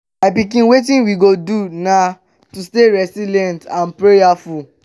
my pikin wetin we go do now na to dey resilient and prayerful